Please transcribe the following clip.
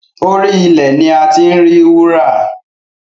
Orí ilẹ̀ ni a ti ń rí wúrà